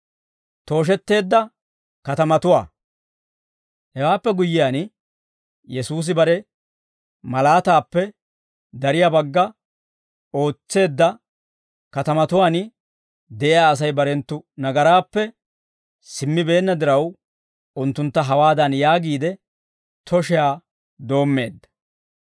Hewaappe guyyiyaan, Yesuusi bare malaataappe dariyaa bagga ootseedda katamatuwaan de'iyaa Asay barenttu nagaraappe simmibeenna diraw, unttuntta hawaadan yaagiide, tooshiyaa doommeedda;